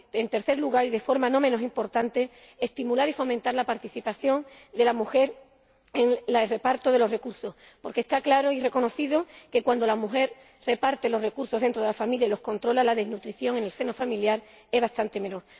y, en tercer lugar y de forma no menos importante, estimular y fomentar la participación de la mujer en el reparto de los recursos, porque está claro y reconocido que, cuando la mujer reparte los recursos dentro de la familia y los controla, la malnutrición en el seno familiar es bastante menor.